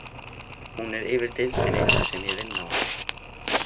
Hún er yfir deildinni sem ég vinn á.